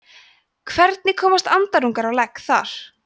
hvernig komast andarungarnir á legg þar